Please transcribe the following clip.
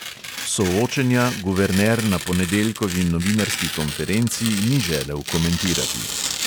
Soočenja guverner na ponedeljkovi novinarski konferenci ni želel komentirati.